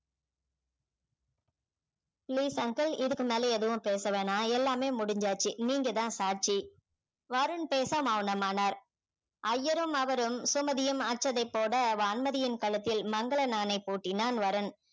please uncle இதுக்கு மேல எதுவும் பேச வேணாம் எல்லாமே முடிஞ்சாச்சு நீங்க தான் சாட்சி வருண் பேச மௌனமானார் ஐயரும் அவரும் சுமதியும் அட்சதை போட வான்மதியின் கழுத்தில் மங்கல நாணை பூட்டினான் வருண்